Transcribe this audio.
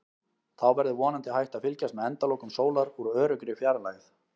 Þá verður vonandi hægt að fylgjast með endalokum sólar úr öruggri fjarlægð.